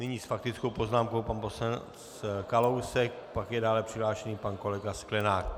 Nyní s faktickou poznámkou pan poslanec Kalousek, pak je dále přihlášen pan kolega Sklenák.